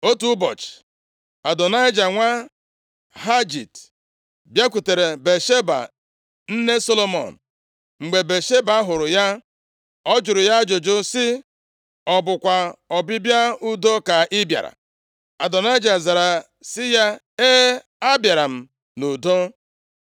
Otu ụbọchị, Adonaịja nwa Hagit, bịakwutere Batsheba, nne Solomọn. Mgbe Batsheba hụrụ ya, ọ jụrụ ya ajụjụ sị, “Ọ bụkwa ọbịbịa udo ka ị bịara?” Adonaịja zara sị ya, “E, abịara m nʼudo.”